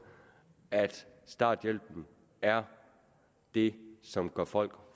at starthjælpen er det som gør folk